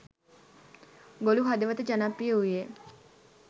ගොළු හදවත ජනප්‍රිය වූයේ